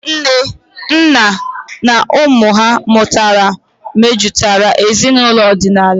Nne, nna, na ụmụ ha mụtara mejutara ezinaụlọ ọdịnala.